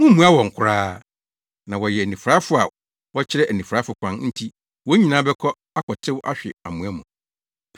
Mummmua wɔn koraa! Na wɔyɛ anifuraefo a wɔrekyerɛ anifuraefo kwan nti wɔn nyinaa bɛkɔ akɔtew ahwe amoa mu.”